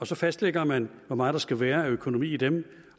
så fastlægger man hvor meget der skal være af økonomi i dem